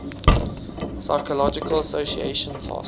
psychological association task